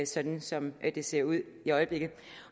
sådan som det ser ud i øjeblikket